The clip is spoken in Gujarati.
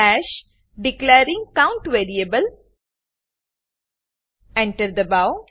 હાશ ડિક્લેરિંગ કાઉન્ટ વેરિએબલ Enter દબાઓ